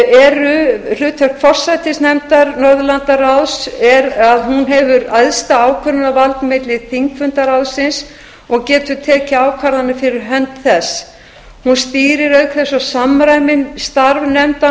eru hlutverk forsætisnefndar er að hún hefur æðsta ákvörðunarvald milli þingfunda ráðsins og getur tekið ákvarðanir fyrir hönd þess hún stýrir auk þess og samræmir starf nefnda